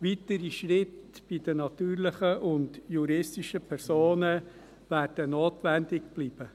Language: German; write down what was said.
Weitere Schritte bei den natürlichen und juristischen Personen werden notwendig bleiben.